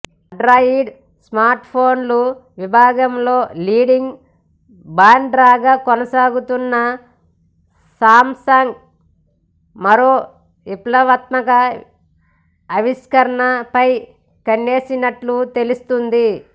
Android స్మార్ట్ఫోన్ల విభాగంలో leading బ్రాండ్గా కొనసాగుతోన్న సామ్సంగ్ మరో విప్లవాత్మక ఆవిష్కరణ పై కన్నేసినట్లు తెలుస్తోంది